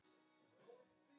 Einu af mörgum.